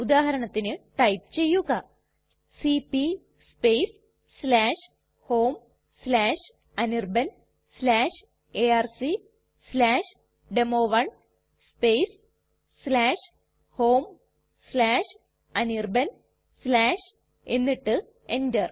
ഉദാഹരണത്തിന് ടൈപ്പ് ചെയ്യുക cp homeanirbanarcdemo1 homeanirban എന്നിട്ട് enter